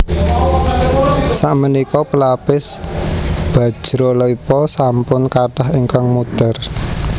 Sakmenika pelapis bajralepa sampun kathah ingkang mudhar